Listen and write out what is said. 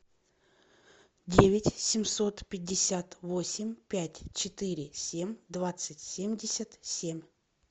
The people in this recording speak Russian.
девять семьсот пятьдесят восемь пять четыре семь двадцать семьдесят семь